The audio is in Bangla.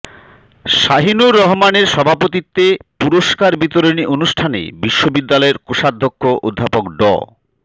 শাহিনুর রহমানের সভাপতিত্বে পুরস্কার বিতরণী অনুষ্ঠানে বিশ্ববিদ্যালয়ের কোষাধ্যক্ষ অধ্যাপক ড